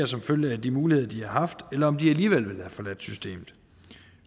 som følge af de muligheder de har haft eller om de alligevel ville have forladt systemet